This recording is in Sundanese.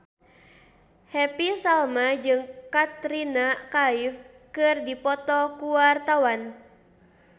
Happy Salma jeung Katrina Kaif keur dipoto ku wartawan